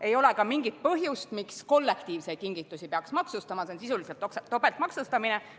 Ei ole ka mingit põhjust, miks kollektiivseid kingitusi peaks maksustama, see on sisuliselt topeltmaksustamine.